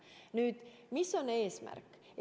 Nüüd, mis on eesmärk?